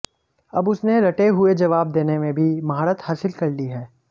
अब उसने रटे हुए जवाब देने मे भी महारत हासिल कर ली है